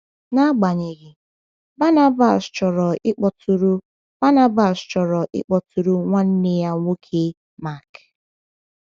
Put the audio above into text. Agbanyeghị, Barnabas chọrọ ịkpọtụrụ Barnabas chọrọ ịkpọtụrụ nwanne ya nwoke Mark.